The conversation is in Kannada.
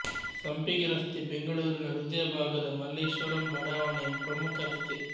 ಸಂಪಿಗೆ ರಸ್ತೆ ಬೆಂಗಳೂರಿನ ಹೃದಯ ಭಾಗದ ಮಲ್ಲೇಶ್ವರಂ ಬಡಾವಣೆಯ ಪ್ರಮುಖ ರಸ್ತೆ